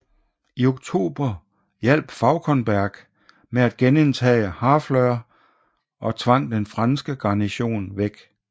I oktober hjalp Fauconberg med at genindtage Harfleur og tvang den franske garnison væk